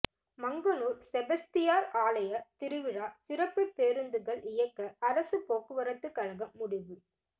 மங்கனூர் செபஸ்தியார் ஆலய திருவிழா சிறப்பு பேருந்துகள் இயக்க அரசு போக்குவரத்து கழகம் முடிவு